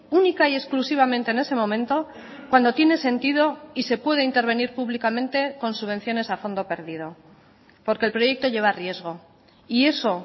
única y exclusivamente en ese momento cuando tiene sentido y se puede intervenir públicamente con subvenciones a fondo perdido porque el proyecto lleva riesgo y eso